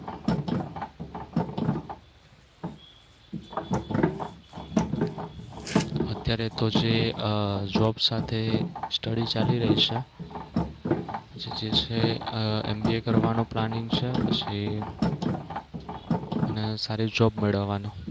અત્યારે તો જે આહ job સાથે study ચાલી રહી છે. પછી જે છે આહ MBA કરવાનો planning છે પછી અને સારી job મેળવવાનો